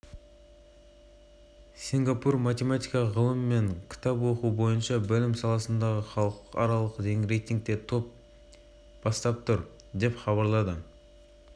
асықпайды заңы бойынша миллиардер бұл сауда туралы жылдың мамыр айына дейін ешкімге тіс жармауға да